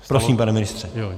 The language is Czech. Prosím, pane ministře.